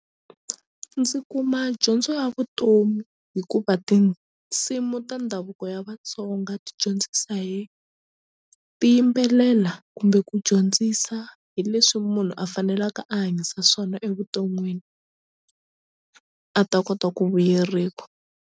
Ndzi kuma dyondzo ya vutomi hikuva tinsimu ta ndhavuko ya Vatsonga ti dyondzisa hi ti yimbelela kumbe ku dyondzisa hi leswi munhu a fanelaka a hanyisa swona evuton'wini a ta kota ku vuyeriwa.